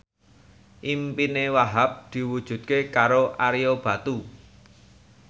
impine Wahhab diwujudke karo Ario Batu